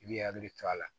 I b'i hakili to a la